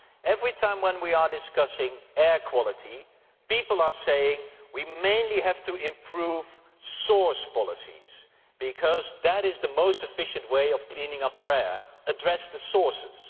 Every time we discuss air quality people are saying we mainly have to improve source policies because that is the most efficient way of cleaning up our air address the sources.